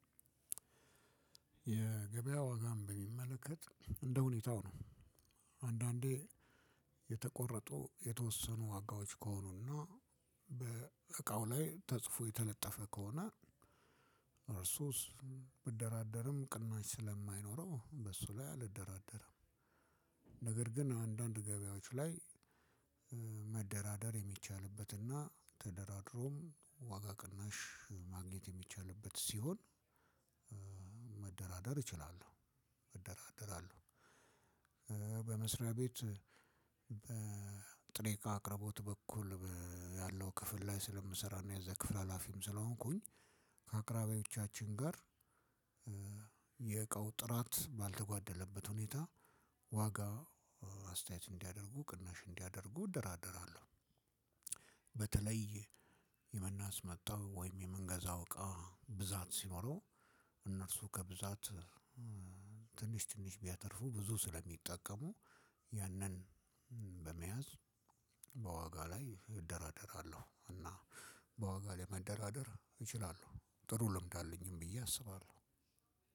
የገበያ ወጋን በሚመለከት እንደሁኔታው ነው። አንዳንዴ የተቆረጡ የተወሰኑ ዋጋዎች ከሆኑና በእቃው ላይ ተጽፎ የተለጠፈ ከሆነ እርሱስ ብደራደርም ቅናሽ ስለማይኖረው በሱ ላይ አልደራደርም። ነገር ግን አንዳንድ ገበያዎች ለይ መደራደር የሚቻልበት እና ተደራድረውም ዋጋ ቅናሽ መግኘት የሚቻልበት ስሆን። እችላለሁ መደራደር አለው። በመስሪያ ቤት በጥሬ እቃ አቅርቦት በኩል ያለው ክፍል ላይ ስለምሰራ እና ያዘ ክፍል ሀላፊም ስለሆንኩኝ ከአቅራብያዎቻችን ጋር የዕቃው ጥረት በልተጓደለበት ሁኔታ ዋጋ አስተያየት እንዲያደርጉ ቅናሽ እንዲያደርጉ እደረደራዘለው። በተለይ የምናስመጣው ወይም የምንገዛው እቃ ብዛት ሲኖረው እነርሱ ከብዛት ትንሽ ትንሽ ቢያተርፉ ብዙ ስለሚጠቀሙ የንን በመያዝ ዋጋ ለይ እደራደረለው እና በዋጋ ለይ መደራደር እችላለው። ጥሩ ልምድ አለኝም ብዬ አስባለው።